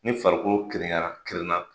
Ni farikolo kirinna